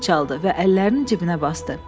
Oğlan fit çaldı və əllərini cibinə basdı.